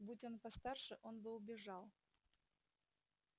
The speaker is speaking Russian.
будь он постарше он бы убежал